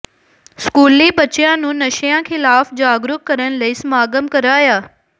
ਸਕੂਲੀ ਬੱਚਿਆਂ ਨੂੰ ਨਸ਼ਿਆਂ ਖ਼ਿਲਾਫ਼ ਜਾਗਰੂਕ ਕਰਨ ਲਈ ਸਮਾਗਮ ਕਰਾਇਆ